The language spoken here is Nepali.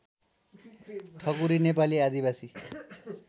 ठकुरी नेपाली आदिवासी